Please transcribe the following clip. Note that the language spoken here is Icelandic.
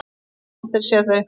Ég hef aldrei séð þau!